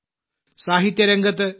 സാഹിത്യരംഗത്ത് Shri